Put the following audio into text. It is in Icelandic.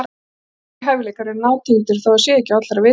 Þessir tveir hæfileikar eru nátengdir, þótt það sé ekki á allra vitorði.